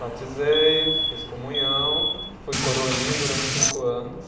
Batizei, fiz comunhão, fui coroinha durante cinco anos.